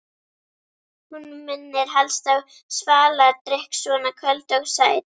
Hún minnir helst á svaladrykk, svona köld og sæt.